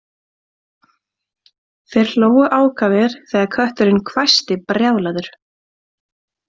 Þeir hlógu ákafir þegar kötturinn hvæsti brjálaður